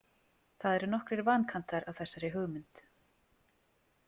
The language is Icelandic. Það eru nokkrir vankantar á þessari hugmynd.